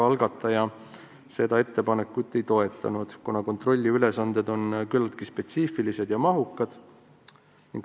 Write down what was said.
Algataja seda ettepanekut ei toetanud, kuna kontrollija ülesanded on küllaltki spetsiifilised ja mahukad.